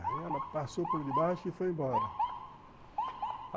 Aí ela passou por debaixo e foi embora.